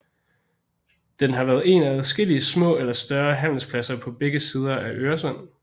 Den har været en af adskillige små eller større handelspladser på begge sider af Øresund